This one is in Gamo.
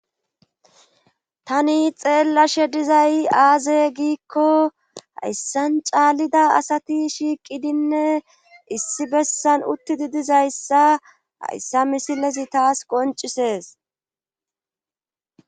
Tani xeellashe dizay aaze giikko hayssan caallida asati shiiqidinne issi bessan uttidi dizayssa hayssa misilezi taas qoncisees.